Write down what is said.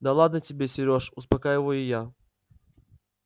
да ладно тебе серёж успокаиваю я